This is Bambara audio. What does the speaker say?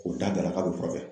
K'o da da k'& bɛ furakɛ